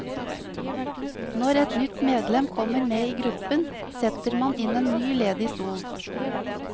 Når et nytt medlem kommer med i gruppen, setter man inn en ny ledig stol.